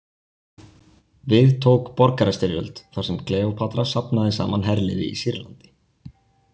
Við tók borgarastyrjöld þar sem Kleópatra safnaði saman herliði í Sýrlandi.